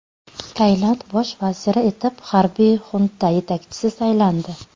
Tailand Bosh vaziri etib harbiy xunta yetakchisi saylandi.